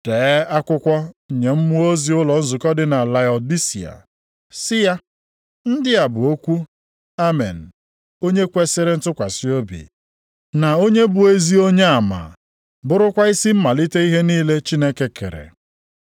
“Dee akwụkwọ nye mmụọ ozi ụlọ nzukọ dị na Laodisia, sị ya: Ndị a bụ okwu Amen, onye kwesiri ntụkwasị obi, na onye bụ ezi onyeama, bụrụkwa isi mmalite ihe niile Chineke kere.